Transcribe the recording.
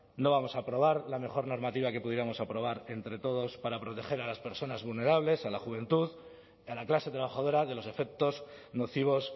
no vamos a aprobar la mejor normativa que pudiéramos aprobar entre todos para proteger a las personas vulnerables a la juventud y a la clase trabajadora de los efectos nocivos